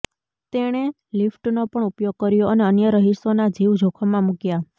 તેણે લિફ્ટનો પણ ઉપયોગ કર્યો અને અન્ય રહીશોના જીવ જોખમમાં મૂક્યા